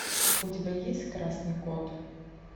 у тебя есть красный код